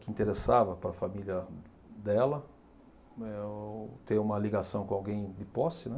que interessava para a família dela, né o, ter uma ligação com alguém de posse, né?